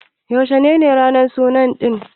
Yaushe ne ranan suna ɗin?